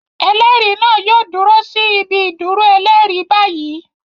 Ẹlẹ́rìí náà yóò dúró sí ibi-ìdúrọ ẹlẹ́rìí báyìí.